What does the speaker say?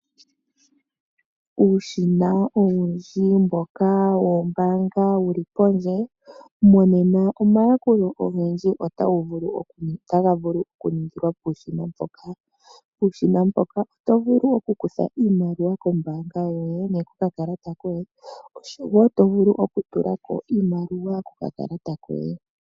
Uushina owundji mboka woombanga wuli pondje monena oomayakulo ogendji otaga vulu oku ningilwa puushina mboka. Uushina mboka oto vulu oku kutha iimaliwa kombanga yoye nenge kokakalata koye oshowo oto vulu oku tula ko iimaliwa koka kalata koye.